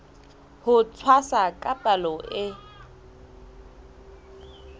ho tshwasa ka palo e